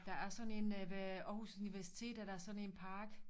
Der er sådan én ved Århus universitet er der sådan en park